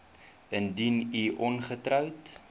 indien u ongetroud